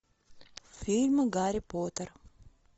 фильм гарри поттер